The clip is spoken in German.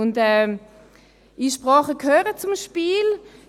Und Einsprachen gehören zum Spiel.